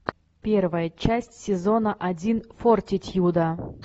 первая часть сезона один фортитьюда